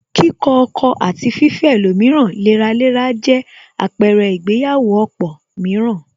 Kíkọ ọkọ̀ àti fifẹ́ ẹlòmíràn léraléra jẹ àpẹrẹ ìgbéyàwó ọ̀pọ̀ mìíràn